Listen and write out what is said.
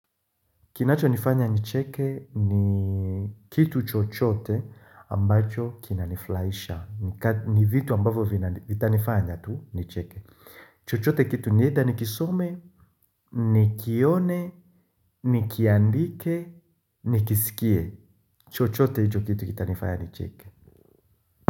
Kinacho nifanya nicheke ni Kitu chochote ambacho kina nifulahisha ni vitu ambavo vitanifanya tu nicheke chochote kitu ni etha nikisome nikione nikiandike Nikisikie chochote hicho kitu kitanifanya nicheke.